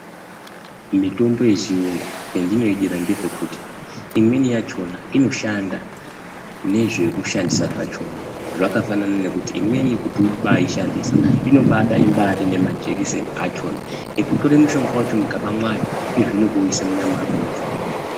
Mitombo yechirungu pandinoidira ndepekuti imweni yachona inoshanda nezvekushandisa zvachona zvakafanana nekuti imweni kuti ubaishandisa inobada ine majekiseni achona ekutora mushonga wacho mukaba mayo Eyezve nekuisa munyama memuntu.